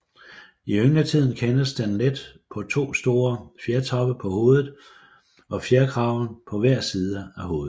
I yngletiden kendes den let på to store fjertoppe på hovedet og fjerkraven på hver side af hovedet